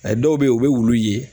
Ɛɛ dɔw be yen, u be wulu ye